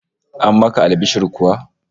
An maka albishir kuwa?